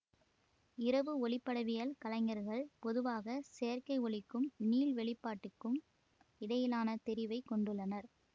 இரவு ஒளிப்படவியல் கலைஞர்கள் பொதுவாக செயற்கை ஒளிக்கும் நீள்வெளிப்பாட்டுக்கும் இடையிலான தெரிவைக் கொண்டுள்ளனர்